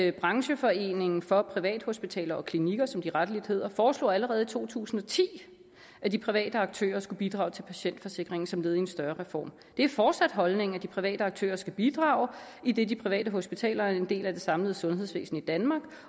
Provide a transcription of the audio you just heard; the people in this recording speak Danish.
at brancheforeningen for privathospitaler og klinikker som de rettelig hedder foreslog allerede i to tusind og ti at de private aktører skulle bidrage til patientforsikringen som led i en større reform det er fortsat holdningen at de private aktører skal bidrage idet de private hospitaler er en del af det samlede sundhedsvæsen i danmark